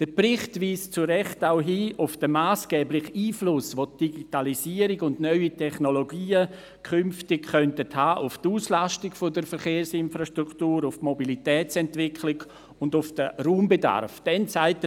Der Bericht weist zu Recht auch auf den massgeblichen Einfluss hin, den die Digitalisierung und neue Technologien künftig auf die Auslastung der Verkehrsinfrastruktur, auf die Mobilitätsentwicklung und auf den Raumbedarf haben könnten.